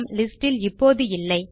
list இல் இப்போது இல்லை